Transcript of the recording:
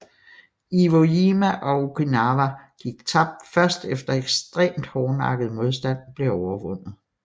Iwo Jima og Okinawa gik tabt først efter ekstremt hårdnakket modstand blev overvundet